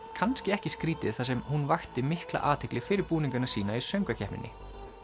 kannski ekki skrítið þar sem hún vakti mikla athygli fyrir búningana sína í söngvakeppninni